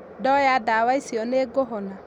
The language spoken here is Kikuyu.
Ndoya ndawa icio nĩ ngũhona?